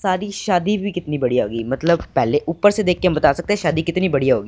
सारी शादी भी कितनी बढ़िया होगी मतलब पहले ऊपर से देखके हम बता सकते हैं शादी कितनी बढ़िया होगी।